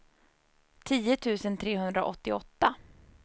tio tusen trehundraåttioåtta